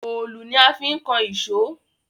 Òòlù ni a fi ń kan ìṣó